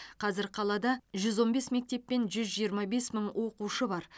қазір қалада жүз он бес мектеп пен жүз жиырма бес мың оқушы бар